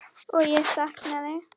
Og er saknað.